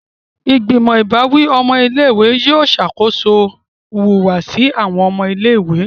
Igbimọ ìbáwí ọmọ ilé-ìwé yóò ṣakoso ìhùwàsí awọn ọmọ ilé-ìwé.